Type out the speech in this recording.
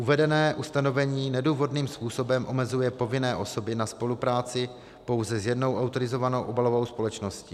Uvedené ustanovení nedůvodným způsobem omezuje povinné osoby na spolupráci pouze s jednou autorizovanou obalovou společností.